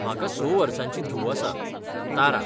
म्हाका स वर्सांची धूव आसा तारा.